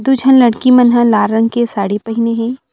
दु झन लड़की मन ह लाल रंग के साड़ी पहिने हे।